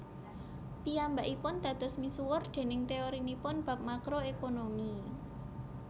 Piyambakipun dados misuwur déning teorinipun bab Makro Ekonomi